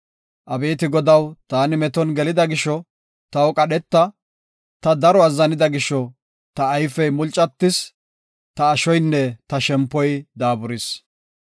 Abeeti Godaw, taani meton gelida gisho taw qadheta; Ta daro azzanida gisho ta ayfey mulcatis; ta ashoynne ta shempoy daaburis.